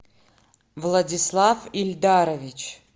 владислав ильдарович